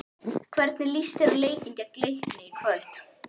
Hvernig líst þér á leikinn gegn Leikni í kvöld?